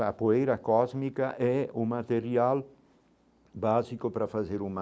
A poeira cósmica é o material básico para fazer uma